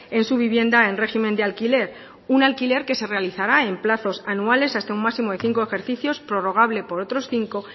en su vivienda en régimen de alquiler un alquiler que se realizará en plazos anuales hasta un máximo de cinco ejercicios prorrogable por otros cinco